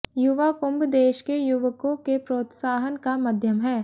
युवा कुंभ देश के युवकों के प्रोत्साहन का माध्यम है